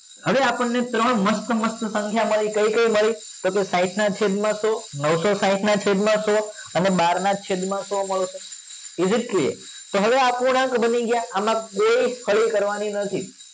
હવે આપણને ત્રણ મસ્ત મસ્ત સંખ્યાઓ મળી કઈ કઈ મળી તો કે સાહીંઠ ના છેદ માં સો નવસો સાહીંઠ ના છેદ માં સો અને બાર ના છેદ માં સો મળશે is it clear તો હવે આ અપૂર્ણાંક બની ગયા આમાં કોઈ હળી કરવા ની નથી